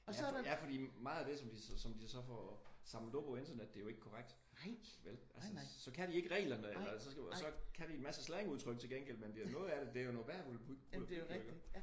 Ja fordi meget af det som de så får samlet op på internettet det er jo ikke korrekt vel altså? Så kan de ikke reglerne eller men så kan de en masse slangudtryk til gengæld men noget af det er noget værre volapyk jo iggå?